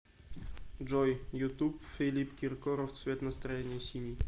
джой ютуб филипп киркоров цвет настроения синий